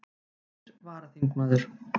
Nýr varaþingmaður